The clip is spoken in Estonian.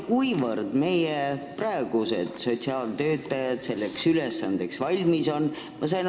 Mil määral meie sotsiaaltöötajad selleks ülesandeks valmis on?